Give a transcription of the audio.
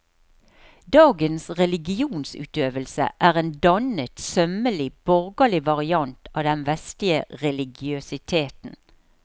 Dagens religionsutøvelse er en dannet, sømmelig, borgerlig variant av den vestlige religiøsiteten.